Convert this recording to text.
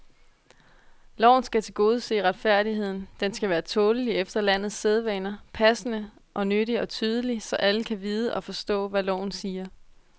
Loven skal tilgodese retfærdigheden, den skal være tålelig efter landets sædvaner, passende og nyttig og tydelig, så alle kan vide og forstå, hvad loven siger.